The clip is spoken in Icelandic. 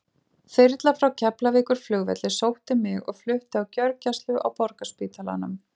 Þyrla frá Keflavíkurflugvelli sótti mig og flutti á gjörgæslu á Borgarspítalanum.